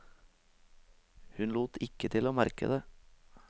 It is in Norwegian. Hun lot ikke til å merke det.